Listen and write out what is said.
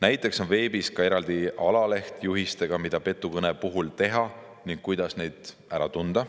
Näiteks on veebis eraldi alaleht juhistega, mida petukõnede puhul teha ning kuidas neid ära tunda.